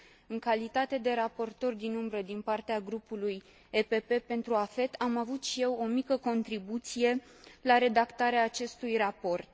În calitate de raportor din umbră din partea grupului PPE pentru AFET, am avut și eu o mică contribuție la redactarea acestui raport.